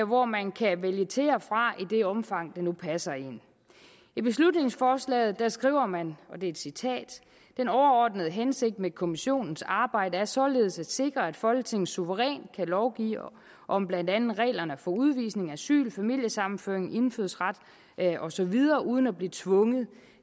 hvor man kan vælge til og fra i det omfang det nu passer en i beslutningsforslaget skriver man og det er et citat den overordnede hensigt med kommissionens arbejde er således at sikre at folketinget suverænt kan lovgive om blandt andet reglerne for udvisning asyl familiesammenføring indfødsret og så videre uden at blive tvunget